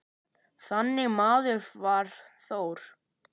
Þannig maður var Þór.